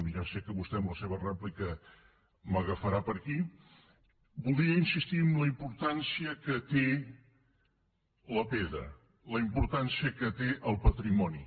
ja sé que vostè en la seva rèplica m’agafarà per aquí voldria insistir en la importància que té la pedra la importància que té el patrimoni